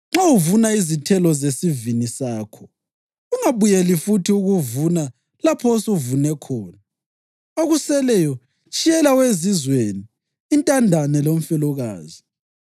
Nxa uvuna izithelo zesivini sakho, ungabuyeleli futhi ukuvuna lapho osuvune khona. Okuseleyo tshiyela owezizweni, intandane lomfelokazi.